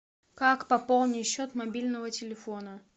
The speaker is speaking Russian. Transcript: как пополнить счет мобильного телефона